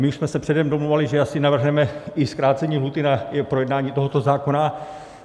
My už jsme se předem domlouvali, že asi navrhneme i zkrácení lhůty na projednání tohoto zákona.